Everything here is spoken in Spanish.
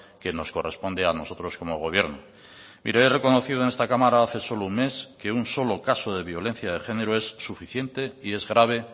que nos corresponde a nosotros como gobierno mire he reconocido en esta cámara hace solo un mes que un solo caso de violencia de género es suficiente y es grave